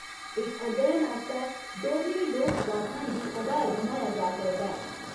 इस अध्ययन आस्तै डोगरी लोकगाथाएं गी आधार बनाया जा करदा ऐ।